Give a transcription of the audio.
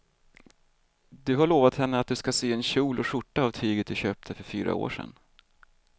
Du har lovat henne att du ska sy en kjol och skjorta av tyget du köpte för fyra år sedan.